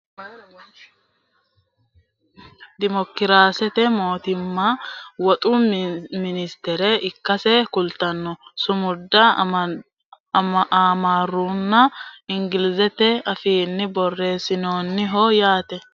duucha sokko sayeesanno sumudi noohu gido itiyophiyu federaale dimokiraasete mootimmaha woxu ministere ikkasse kulanno sumuda amaarunna ingilizete afiinni borreessinoonniho yaate